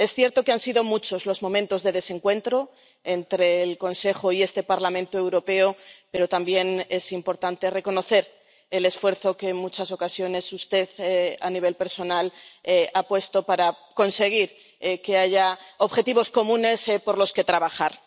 Es cierto que han sido muchos los momentos de desencuentro entre el Consejo y este Parlamento Europeo, pero también es importante reconocer el esfuerzo que en muchas ocasiones usted, a nivel personal, ha puesto para conseguir que haya objetivos comunes por los que trabajar.